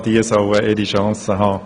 Auch diese sollen eine Chance haben.